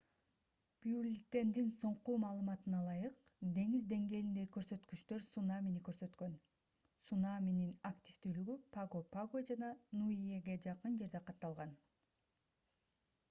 бюллетендин соңку маалыматына ылайык деңиз деңгээлиндеги көрсөткүчтөр цунамини көрсөткөн цунаминин активдүүлүгү паго-паго жана ниуэге жакын жерде катталган